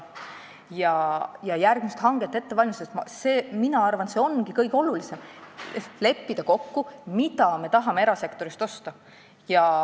Mina arvan, et järgmist hanget ette valmistades ongi see kõige olulisem – leppida kokku, mida me tahame erasektorist osta.